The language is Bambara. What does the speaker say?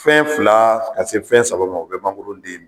Fɛn fila ka se fɛn saba ma o bɛ mangoroden dun.